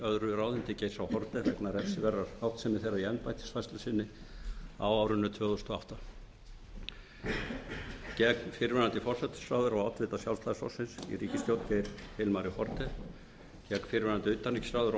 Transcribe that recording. öðru ráðuneyti geirs h haarde vegna refsiverðrar háttsemi þeirra í embættisfærslu sinni á árinu tvö þúsund og átta gegn fyrrverandi forsætisráðherra og oddvita sjálfstæðisflokksins í ríkisstjórn geir hilmari haarde gegn fyrrverandi utanríkisráðherra